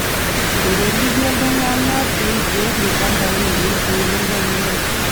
Etolikio ltung'ana pee eigerr lchambai lenye pee meikonyari